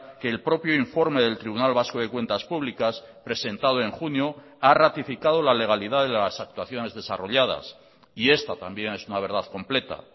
que el propio informe del tribunal vasco de cuentas públicas presentado en junio ha ratificado la legalidad de las actuaciones desarrolladas y esta también es una verdad completa